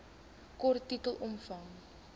kort titel omvang